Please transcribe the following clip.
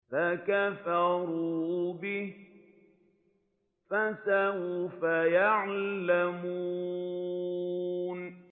فَكَفَرُوا بِهِ ۖ فَسَوْفَ يَعْلَمُونَ